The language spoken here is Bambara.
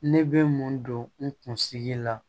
Ne bɛ mun don n kunsigi la